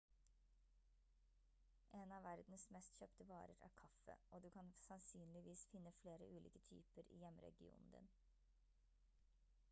en av verdens mest kjøpte varer er kaffe og du kan sannsynligvis finne flere ulike typer i hjemregionen din